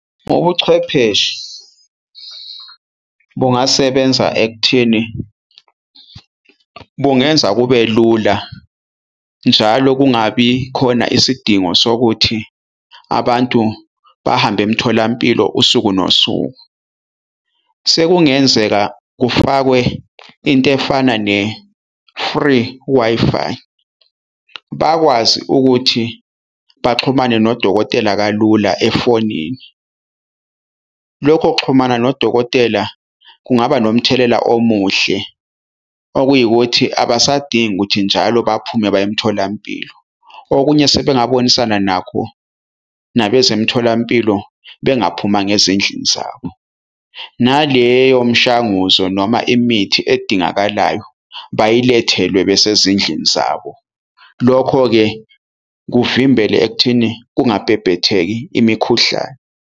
Ubuchwepheshe bungasebenza ekutheni bungenza kube lula njalo kungabi khona isidingo sokuthi abantu bahambe emtholampilo usuku nosuku. Sekungenzeka kufakwe into efana ne-free Wi-Fi bakwazi ukuthi baxhumane nodokotela kalula efonini. Lokho kuxhumana nodokotela kungaba nomthelela omuhle okuyikuthi abasadingi ukuthi njalo baphume baye emtholampilo. Okunye sebengabonisana nakho nabezemtholampilo bengaphumanga ezindlini zabo. Naleyo mshanguzo noma imithi edingakalayo bayilethelwe besezindlini zabo. Lokho-ke kuvimbele ekutheni kungabhebhetheki imikhuhlane.